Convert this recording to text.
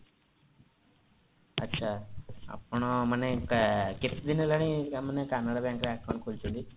ଆଚ୍ଛା ଆପଣ ମାନେ କେତେଦିନ ହେଲାଣି ମାନେ canara bank ରେ account ଖୋଲିଛନ୍ତି